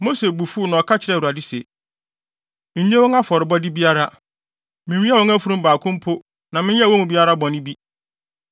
Mose bo fuw na ɔka kyerɛɛ Awurade se, “Nnye wɔn afɔrebɔde biara! Minwiaa wɔn afurum baako mpo na menyɛɛ wɔn mu biara bɔne bi.”